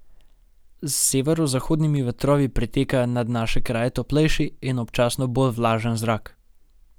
Z severozahodnimi vetrovi priteka nad naše kraje toplejši in občasno bolj vlažen zrak.